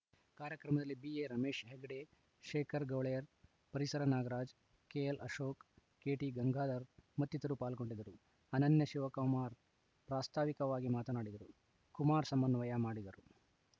ಕಾರ್ಯಕ್ರಮದಲ್ಲಿ B A Ramesh Hegde Shekhar Gowler ಪರಿಸರ Nagaraj K L Ashok K T Gangadhar ಮತ್ತಿತರರು ಪಾಲ್ಗೊಂಡಿದ್ದರು ಅನನ್ಯ ಶಿವಕಮಾರ್‌ ಪ್ರಾಸ್ತಾವಿಕವಾಗಿ ಮಾತನಾಡಿದರು ಕುಮಾರ್‌ ಸಮನ್ವಯ ಮಾಡಿದರು